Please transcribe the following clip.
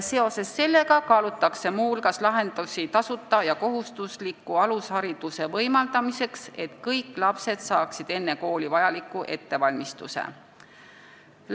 Seoses sellega kaalutakse muu hulgas lahendusi tasuta ja kohustusliku alushariduse andmiseks, et kõik lapsed saaksid enne kooli vajaliku ettevalmistuse.